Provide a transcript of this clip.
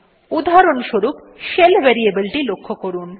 উদাহরণস্বরূপ shell variable টি লক্ষ্য করুন